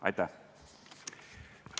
Aitäh!